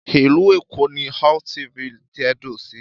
Ìlú Èkó ni LTV tẹ̀dó sí.